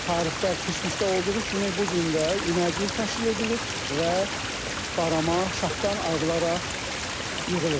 Tarixdə keçmişdə olduğu kimi bu gün də iməcilik təşkil edilir və barama şaxdan ayrılaraq yığılır.